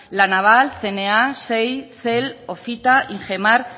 la naval cna xey cel ofita ingemar